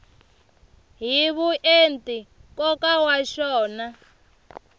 hi vuenti nkoka wa xona